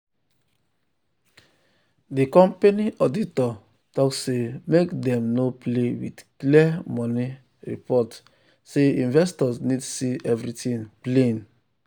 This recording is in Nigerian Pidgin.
the company auditor talk say make dem no play with clear money report say investors need see everything plain.